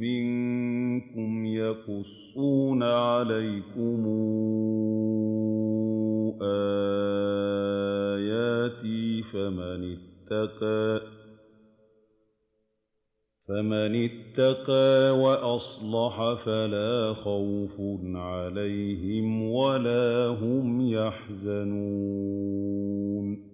مِّنكُمْ يَقُصُّونَ عَلَيْكُمْ آيَاتِي ۙ فَمَنِ اتَّقَىٰ وَأَصْلَحَ فَلَا خَوْفٌ عَلَيْهِمْ وَلَا هُمْ يَحْزَنُونَ